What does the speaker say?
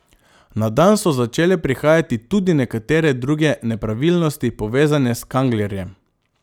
Na dan so začele prihajati tudi nekatere druge nepravilnosti, povezane s Kanglerjem.